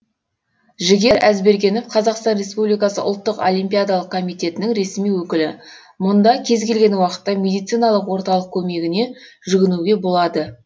жігер әзбергенов қазақстан республикасы ұлттық олимпиадалық комитетінің ресми өкілі мұнда кез келген уақытта медициналық орталық көмегіне жүгінуге болады